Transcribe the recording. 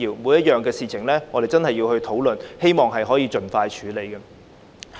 每個項目也要進行討論，希望能夠盡快處理。